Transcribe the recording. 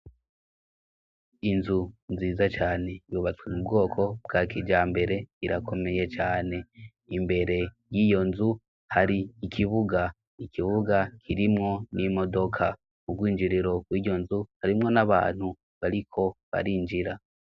Inzu nziza cane bubatswe mu bwoko bwa kija mbere irakomeye cane imbere y'iyo nzu hari ikibuga ikibuga kirimwo n'i modoka ubwinjiriro ku'iyo nzu harimwo n'abantu bariko barinjira.